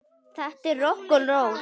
Þetta er rokk og ról.